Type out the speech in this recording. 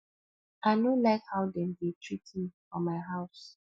i no like how dem dey treat me for my house